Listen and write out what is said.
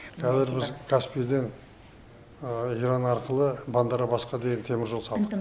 қазір біз каспийден иран арқылы бандарабасқа деген теміржол салдық